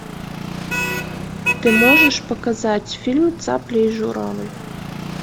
ты можешь показать фильм цапля и журавль